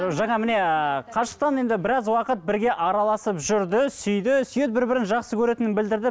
жаңа міне қашықтан енді біраз уақыт бірге араласып жүрді сүйді сүйеді бір бірін жақсы көретінін білдірді